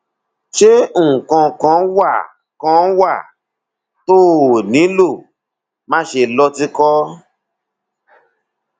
ṣé nǹkan kan wà kan wà tó o nílò máṣe lọ tìkọ